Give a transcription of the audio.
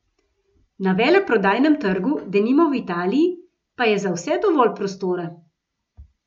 Na veleprodajnem trgu, denimo v Italiji, pa je za vse dovolj prostora.